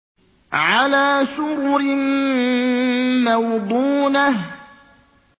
عَلَىٰ سُرُرٍ مَّوْضُونَةٍ